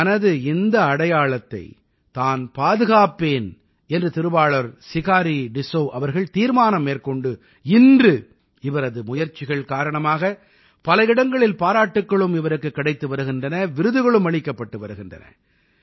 தனது இந்த அடையாளத்தை தான் பாதுகாப்பேன் என்று திருவாளர் சிகாரீ டிஸ்ஸௌ அவர்கள் தீர்மானம் மேற்கொண்டு இன்று இவரது முயற்சிகள் காரணமாக பல இடங்களில் பாராட்டுக்களும் இவருக்குக் கிடைத்து வருகின்றன விருதுகளும் அளிக்கப்பட்டு வருகின்றன